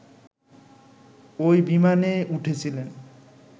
ঐ বিমানে উঠেছিলেন